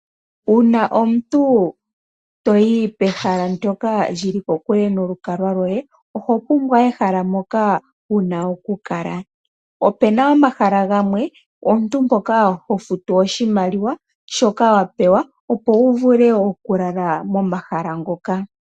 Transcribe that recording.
Uuna omuntu toyi pehala ndyoka li li kokule nolukalwa lwoye, oho pumbwa ehala mpoka wuna oku kala. Opena omahala gamwe omuntu mpoka ho futu oshimaliwa shoka wa pewa, opo wu vule oku lala momahala ngoka.